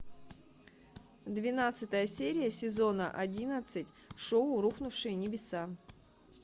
двенадцатая серия сезона одиннадцать шоу рухнувшие небеса